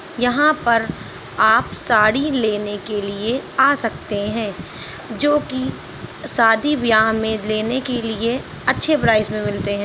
यहाँ पर आप साड़ी लेने के लिए आ सकते हैं जो कि सादी बियाह मे लेने के लिए अच्छे प्राइस मे मिलते हैं।